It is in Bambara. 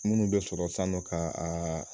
Munnu bɛ sɔrɔ sisan nɔ ka